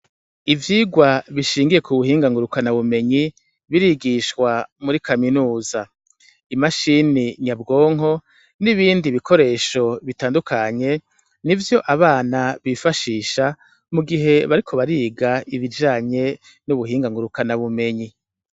Ivyigwa bishingiye kubuhinga ngurukanabumenyi birigishwa muri kaminuza, imashini nyabwonko n'ibindi bikoresho bitandukanye nivyo abana bifashisha mugihe bariko bariga ibijanye nubuhinga ngurukanabumenyi.